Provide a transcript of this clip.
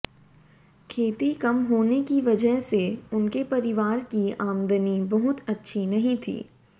खेती कम होने की वजह से उनके परिवार की आमदनी बहुत अच्छी नहीं थी